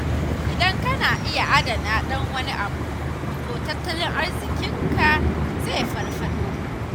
Idan kana iya adana ɗan wani abu, to tattalin arziƙinka zai farfaɗo.